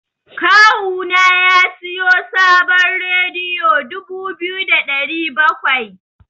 Kawu na ya siyo sabon rediyo dubu biyu da saba'in da bakwai.